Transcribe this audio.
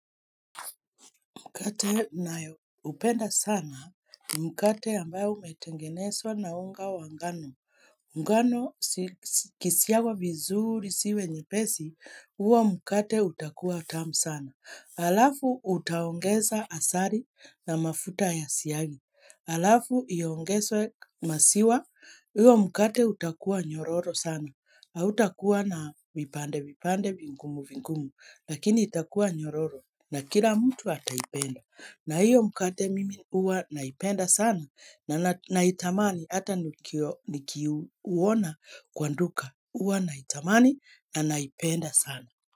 Mkate nayoupenda sana, ni mkate ambayo umetengeneswa na unga wa ngano. Ngano ikisiagwa vizuri ziwe nyepesi, huo mkate utakua tamu sana. Alafu utaongeza asali na mafuta ya siagi. Alafu iongezwe maziwa, hiyo mkate utakua nyororo sana. Hautakuwa na vipande vipande vingumu vingumu lakini itakuwa nyororo na kila mtu ataipenda na hiyo mkate mimi huwa naipenda sana na naitamani hata nikiuona kwa nduka huwa naitamani na naipenda sana.